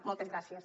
moltes gràcies